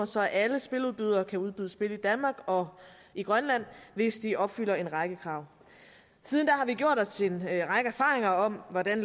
så alle spiludbydere kan udbyde spil i danmark og i grønland hvis de opfylder en række krav siden da har vi gjort os en række erfaringer om hvordan